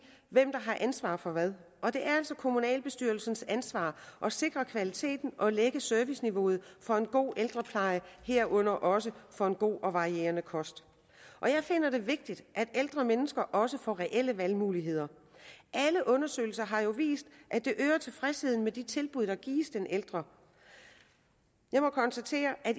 hvem der har ansvaret for hvad og det er altså kommunalbestyrelsens ansvar at sikre kvaliteten og lægge serviceniveauet for en god ældrepleje herunder også for en god og varieret kost jeg finder det vigtigt at ældre mennesker også får reelle valgmuligheder og alle undersøgelser har jo vist at det øger tilfredsheden med de tilbud der gives den ældre jeg må konstatere at